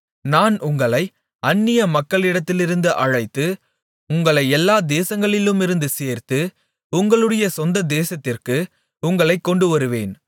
நான் உங்களை அந்நிய மக்களிடத்திலிருந்து அழைத்து உங்களைச் எல்லா தேசங்களிலுமிருந்து சேர்த்து உங்களுடைய சொந்த தேசத்திற்கு உங்களைக் கொண்டுவருவேன்